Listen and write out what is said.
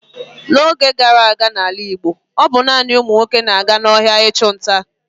N'oge gara aga n'ala Igbo, ọ bụ naanị ụmụ nwoke na-aga n'ọhịa ịchụ nta.